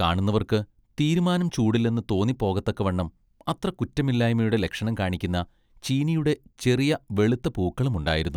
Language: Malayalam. കാണുന്നവർക്ക് തീരുമാനം ചൂടില്ലെന്ന് തോന്നിപ്പോകത്തക്കവണ്ണം അത്ര കുറ്റമില്ലായ്മയുടെ ലക്ഷണം കാണിക്കുന്ന ചീനിയുടെ ചെറിയ വെളുത്ത പൂക്കളും ഉണ്ടായിരുന്നു.